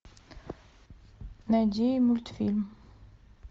найди мультфильм